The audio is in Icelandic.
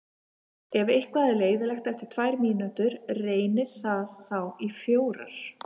Ef eitthvað er leiðinlegt eftir tvær mínútur, reynið það þá í fjórar.